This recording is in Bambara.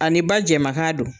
A ni ba jɛma kan don.